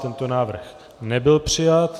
Tento návrh nebyl přijat.